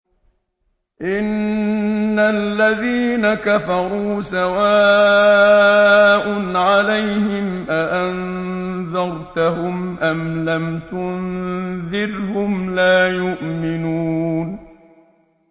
إِنَّ الَّذِينَ كَفَرُوا سَوَاءٌ عَلَيْهِمْ أَأَنذَرْتَهُمْ أَمْ لَمْ تُنذِرْهُمْ لَا يُؤْمِنُونَ